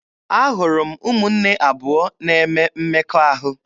Ahụrụ m ụmụnne abụọ na-eme mmekọahụ.